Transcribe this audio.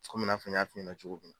Komi i n'a fɔ n y'a f'i ɲɛna cogo min na.